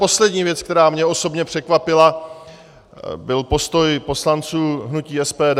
Poslední věc, která mě osobně překvapila, byl postoj poslanců hnutí SPD.